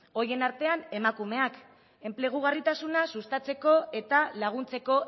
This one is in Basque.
horien artean emakumeak enplegugarritasuna sustatzeko eta laguntzeko